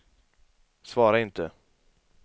svara inte